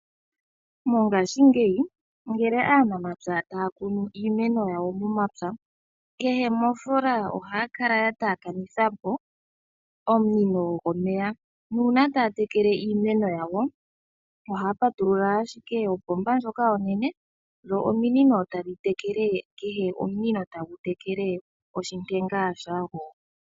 Mongashingeyi ngele aanamapya taya kunu iimeno yawo momapya, kehe mofoola ohaya kala ya taakanitha mo omunino gomeya, nuuna taya tekele iimeno yawo ohaya patulula shike opomba ndjoka onene dho ominino tadhi tekele. Kehe omunino tagu tekele oshitopolwa shago.